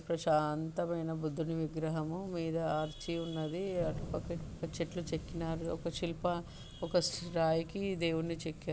ప్రశాంతమైన బుద్ధుడి విగ్రహము మీద ఆర్చి ఉన్నది. అటుపక్క ఇటుపక్క చెట్లు చెక్కినారు ఒక శిల్ప ఒక రాయికి దేవున్నిచెక్కారు